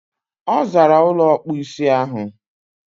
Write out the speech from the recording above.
Ọ zaara ụlọ ọkpụisi ahụ.